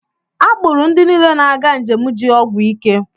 A kpụụrụ ndị niile na-aga njem ji ọgwụ ike.